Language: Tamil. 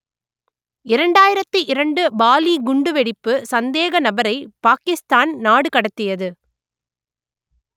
இரண்டாயிரத்து இரண்டு பாலி குண்டுவெடிப்பு சந்தேக நபரை பாக்கிஸ்தான் நாடு கடத்தியது